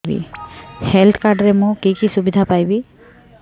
health card ରେ ମୁଁ କି କି ସୁବିଧା ପାଇବି